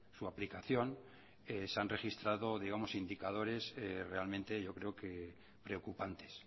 su aplicación se han registrado digamos indicadores realmente yo creo que preocupantes